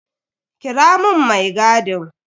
Kira mun mai gadin.